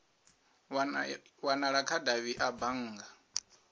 wanala kha davhi a bannga